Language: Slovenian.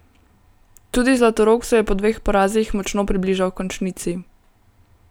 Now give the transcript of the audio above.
Tudi Zlatorog se je po dveh porazih močno približal končnici.